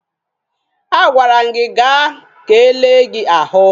A gwara m gị gaa ka e lee gị ahụ!